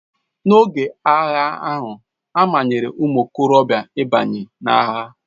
N'oge agha ahụ, a manyere ụmụ okorobịa ịbanye n'agha.